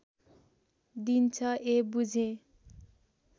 दिन्छ ए बुझेँ